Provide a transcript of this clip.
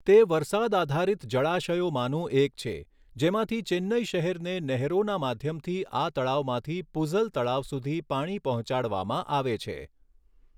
તે વરસાદ આધારિત જળાશયોમાંનું એક છે, જેમાંથી ચેન્નઇ શહેરને નહેરોના માધ્યમથી આ તળાવમાંથી પૂઝલ તળાવ સુધી પાણી પહોંચાડવામાં આવે છે.